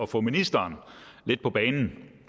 få ministeren lidt på banen